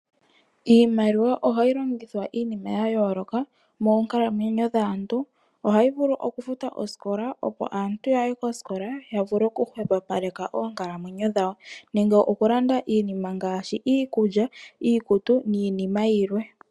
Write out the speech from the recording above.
Iimaliwa ohayi longithwa iinima ya yooloka moonkalamwenyo dhaantu. Ohayi vulu oku futa oosikola, opo aantu ya ye kosikola, ya vule hwepopaleka oonkalamwenyo dhawo nenge oku landa iinima ngaashi iikulya, iikutu niinima yilwe.